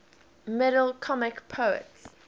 middle comic poets